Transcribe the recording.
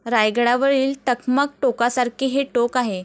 रायगडावरील 'टकमक' टोकासारखे हे टोक आहे.